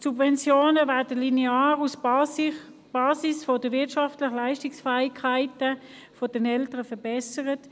Dann werden die Subventionen linear auf der Basis der wirtschaftlichen Leistungsfähigkeit der Eltern verbessert.